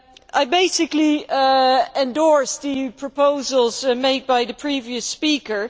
I basically endorse the proposals made by the previous speaker.